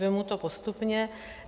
Vezmu to postupně.